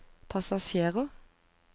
passasjerer